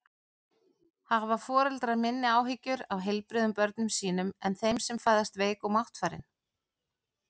Hafa foreldrar minni áhyggjur af heilbrigðum börnum sínum en þeim sem fæðast veik og máttfarin?